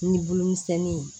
Ni bolo misɛnnin ye